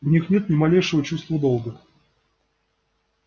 у них нет ни малейшего чувства долга